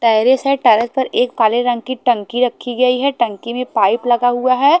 Terrace है terrace पर एक काले रंग की टंकी रखी गई है टंकी में पाइप लगा हुआ है।